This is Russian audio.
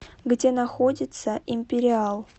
где находится империал